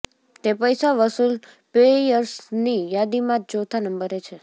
તે પૈસા વસૂલ પ્લેયર્સની યાદીમાં ચોથા નંબરે છે